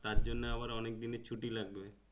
তার জন্যে আবার অনেক দিনের ছুট্টি লাগবে।